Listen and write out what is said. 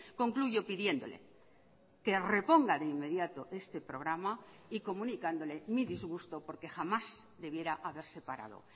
concluyo pidiéndole que reponga de inmediato este programa y comunicándole mi disgusto porque jamás debiera haberse parado